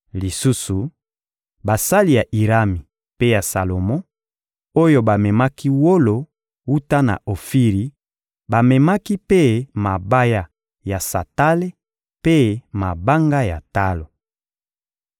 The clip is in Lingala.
Lisusu, basali ya Irami mpe ya Salomo, oyo bamemaki wolo wuta na Ofiri bamemaki mpe mabaya ya santale mpe mabanga ya talo.